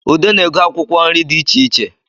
Ude na-ego akwụkwọ nri di icheiche